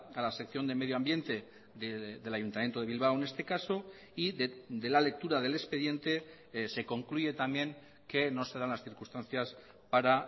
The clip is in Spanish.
a la sección de medioambiente del ayuntamiento de bilbao en este caso y de la lectura del expediente se concluye también que no se dan las circunstancias para